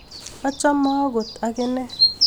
Achome agot agine